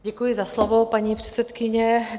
Děkuji za slovo, paní předsedkyně.